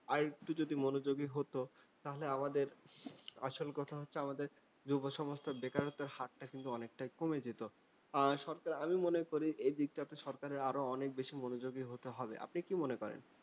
আরেকটু যদি মনোযোগী হতো, তাহলে আমাদের আসল কথা হচ্ছে আমাদের যুব সমাজটার বেকারত্বের হারটা কিন্তু অনেকটাই কমে যেতো। আহ সরকার আমি মনে করি, এদিকটাতে সরকারের আরো অনেক বেশি মনোযোগী হতে হবে। আপনি কি মনে করেন?